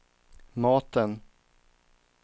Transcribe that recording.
maten